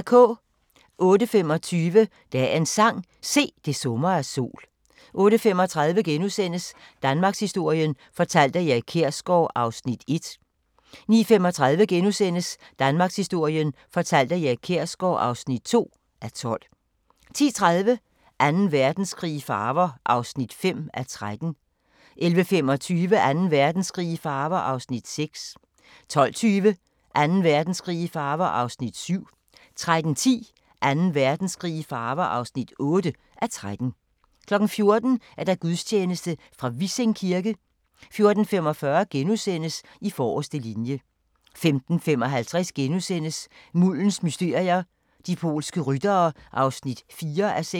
08:25: Dagens sang: Se, det summer af sol 08:35: Danmarkshistorien fortalt af Erik Kjersgaard (1:12)* 09:35: Danmarkshistorien fortalt af Erik Kjersgaard (2:12)* 10:30: Anden Verdenskrig i farver (5:13) 11:25: Anden Verdenskrig i farver (6:13) 12:20: Anden Verdenskrig i farver (7:13) 13:10: Anden Verdenskrig i farver (8:13) 14:00: Gudstjeneste fra Vissing kirke 14:45: I forreste linje * 15:55: Muldens mysterier – de polske ryttere (4:6)*